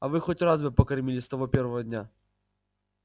а вы хоть бы раз покормили с того первого дня